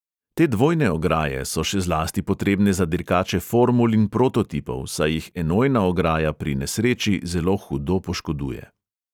Te dvojne ograje so še zlasti potrebne za dirkače formul in prototipov, saj jih enojna ograja pri nesreči zelo hudo poškoduje.